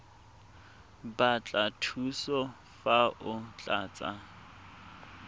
batla thuso fa o tlatsa